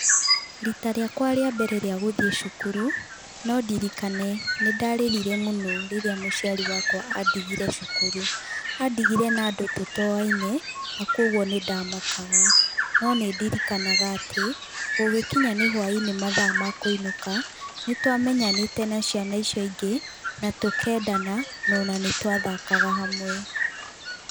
Rita rĩakwa rĩa mbere rĩa gũthiĩ cukuru no ndirikane nĩ ndarĩrire mũno rĩrĩa mũciari wakwa andigire cukuru. Andigire na andũ tũtoaine na koguo nĩ ndamakaga. No nĩ ndirikanaga atĩ gũgĩkinya nĩ hwainĩ mathaa makũinũka, nĩ twamenyanĩtĩ na ciana icio ingĩ na tũkendana ona nĩ twathakaga hamwe.